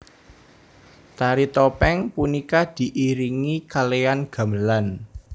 Tari topeng punika diiringi kalean gamelan